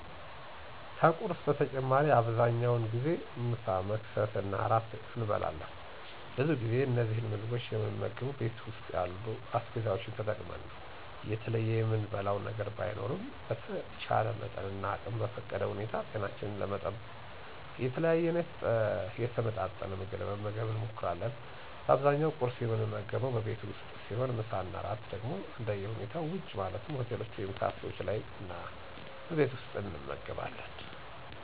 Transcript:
ከቁርስ በተጨማሪ አብዛኛውን ጊዜ ምሳ፣ መክሰስ እና እራት እንበላለን። ብዙ ጊዜ እነዚህን ምግቦች የምንመገበው ቤት ውስጥ ያሉ አስቤዛዎችን ተጠቅመን ነው። የተለየ የምንበላው ነገር ባይኖርም በተቻለ መጠንና አቅም በፈቀደ ሁኔታ ጤናችንን ለመጠበቅ የተለያየና የተመጣጠን ምግብ ለመመገብ እንሞክራለን። በአብዛኛው ቍርስ የምንመገበው በቤት ውስጥ ሲሆን ምሳ እና እራት ደግሞ እንደሁኔታው ውጪ ማለትም ሆቴሎች ወይም ካፌዎች ላይ እና በቤት ውስጥ እንመገባለን።